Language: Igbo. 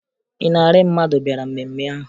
Ịnarị mmadụ bịara mmemme ahụ